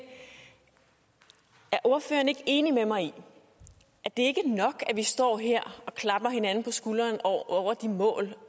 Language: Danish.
er ordføreren ikke enig med mig i at det ikke er nok at vi står her og klapper hinanden på skulderen over de mål